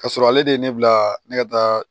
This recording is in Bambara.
Ka sɔrɔ ale de ye ne bila ne ka taa